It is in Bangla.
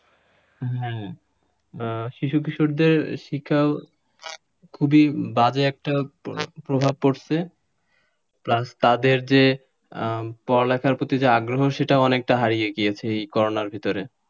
হ্যাঁ শিশু কিশোরদের শিক্ষা খুবই বাজে একটা প্রভাব পড়ছে plus তাদের যে পড়ালেখার প্রতি আগ্রহ সেটা অনেকটা হারিয়ে গিয়েছে এই করোনার ভেতরে,